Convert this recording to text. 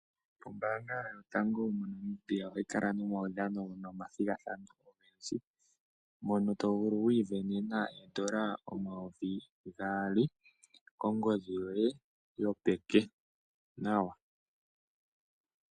Ombaanga yotango yopashigwana moNamibia ohayi kala nomaudhano nomathigathano, mono to vulu oku sindanena oondola omayovi gaali kongodhi yoye yopeke nawa.